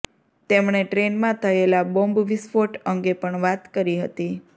તેમણે ટ્રેનમાં થયેલા બોમ્બ વિસ્ફોટ અંગે પણ વાત કરી હતી